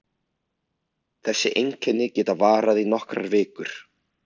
Þessi einkenni geta varað í nokkrar vikur.